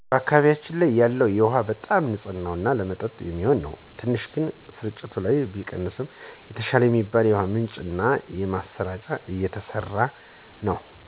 በአካባቢያችን ያለው ውሃ በጣም ንፅህ እና ለመጠጥ የሚሆን ነው። ትንሽ ግን ስርጭት ላይ ቢቀንስም የተሻለ የሚባል የውሃ ምንጭ እና ማሰራጫ እየተሰራ ነው